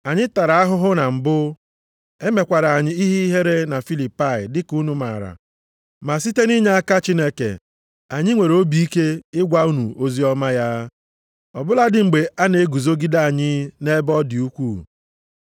Anyị tara ahụhụ na mbụ e mekwara anyị ihe ihere na Filipai dịka unu maara, ma site nʼinyeaka Chineke anyị nwere obi ike ịgwa unu oziọma ya, ọ bụladị mgbe a na-eguzogide anyị nʼebe ọ dị ukwuu.